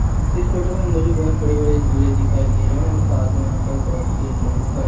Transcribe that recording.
इस फोटो में मुझे बहुत बड़े बड़े झूले दिखाई दे रहे हैं साथ में यहां पर बहुत से लोग खड़े--